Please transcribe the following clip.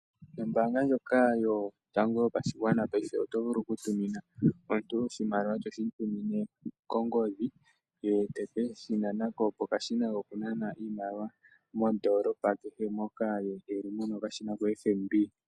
Nombaanga ndyoka yotango yopashigwana paife oto vulu oku tumina omuntu oshimaliwa toshi mu tumine kongodhi, ye teke shi nana ko pokashina koku nana iimaliwa, mondoolopa kehe moka ye eli muna okashina koFNB.